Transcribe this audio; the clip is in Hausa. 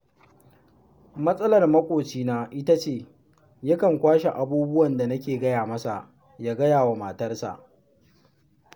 Matsalar maƙocina ita ce, yakan kwashe abubuwan da nake gaya masa, ya gaya wa matarsa